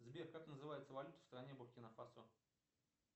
сбер как называется валюта в стране буркина фасо